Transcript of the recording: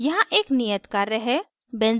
यहाँ एक नियत कार्य है